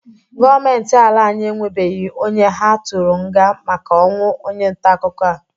Gọọmenti ala anyị enwebeghi onye ha tụrụ nga maka ọnwụ onye ntaakụkọ a.